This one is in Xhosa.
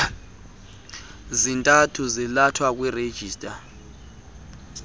zintathu zalathwe kwirejista